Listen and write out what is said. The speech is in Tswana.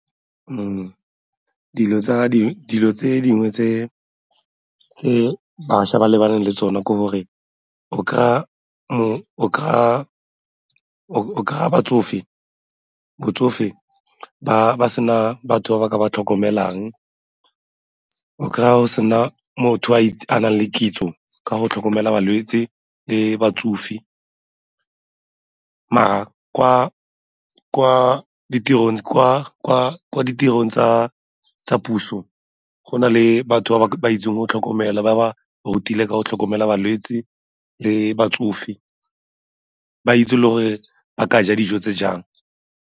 Dilo tse dingwe tse bašwa ba lebaneng le tsone ke gore o kry-a batsofe ba sena batho ba ba ka ba tlhokomelang, o kry-a go sena motho a nang le kitso ka go tlhokomela balwetse le batsofe mara kwa ditirong tsa puso go na le batho ba ba itseng go tlhokomela, ba ba rutile ka go tlhokomela balwetse le batsofe, ba itse le gore ba ka ja dijo tse jang.